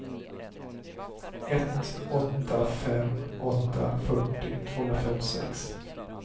ett åtta fem åtta fyrtio tvåhundrafemtiosex